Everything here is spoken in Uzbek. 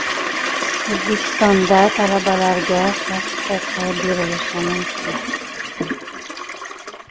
O‘zbekistonda talabalarga ishlash huquqi berilishi mumkin.